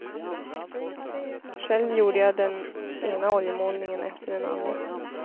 Själv gjorde jag den ena oljemålningen efter den andra.